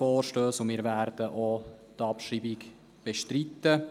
Auch wir werden die Abschreibung bestreiten.